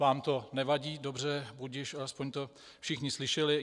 Vám to nevadí, dobře, budiž, alespoň to všichni slyšeli.